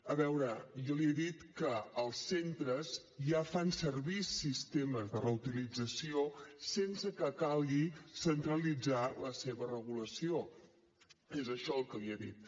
a veure jo li he dit que els centres ja fan servir sistemes de reutilització sense que calgui centralitzar la seva regulació és això el que li he dit